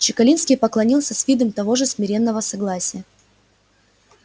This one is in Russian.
чекалинский поклонился с видом того же смиренного согласия